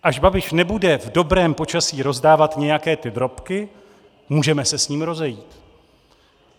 Až Babiš nebude v dobrém počasí rozdávat nějaké ty drobky, můžeme se s ním rozejít.